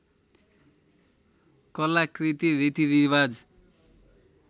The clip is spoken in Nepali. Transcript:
कलाकृति रीतिरिवाज